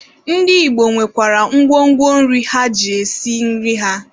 Ndị Igbo nwekwara ngwo ngwo nri ha ji esi nri ha.